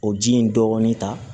O ji in dɔɔnin ta